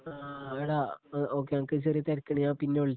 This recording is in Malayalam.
ആ ആഡാ ശരിഡാ ഓക്കേ എനക്ക് ചെറിയൊരു തിരക്കുണ്ട് ഞാൻ പിന്നെ വിളിച്ചോളാം.